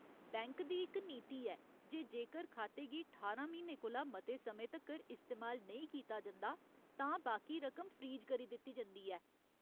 Bank दी इक नीति ऐ जे जेकर खाते गी ठारां म्हीनें कोला मते समें तक्कर इस्तेमाल नेईं कीता जंदा, तां बाकी रकम फ्रीज करी दित्ती जंदी ऐ।